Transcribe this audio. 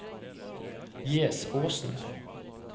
Gjesåsen